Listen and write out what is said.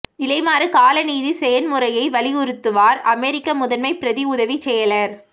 நிலைமாறு கால நீதி செயன்முறையை வலியுறுத்துவார் அமெரிக்க முதன்மை பிரதி உதவிச் செயலர்